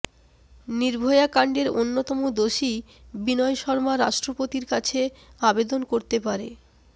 নির্ভয়াকাণ্ডের অন্যতম দোষী বিনয় শর্মা রাষ্ট্রপতির কাছে আবেদন করতে পারে